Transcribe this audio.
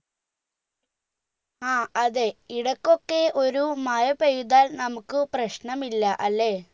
ആ അതെ ഇടക്കൊക്കെ ഒരു മഴ പെയ്താൽ നമ്മുക് പ്രശ്നമില്ല അല്ലെ